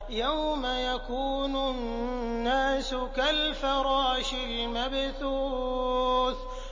يَوْمَ يَكُونُ النَّاسُ كَالْفَرَاشِ الْمَبْثُوثِ